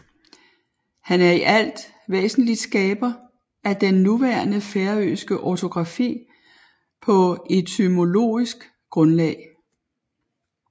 Han er i alt væsentligt skaber af den nuværende færøske ortografi på etymologisk grundlag